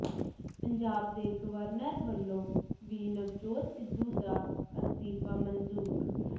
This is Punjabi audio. ਪੰਜਾਬ ਦੇ ਗਵਰਨਰ ਵੱਲੋਂ ਵੀ ਨਵਜੋਤ ਸਿੱਧੂ ਦਾ ਅਸਤੀਫਾ ਮਨਜੂਰ